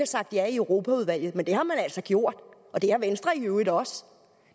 sagt ja i europaudvalget men det har man altså gjort og det har venstre i øvrigt også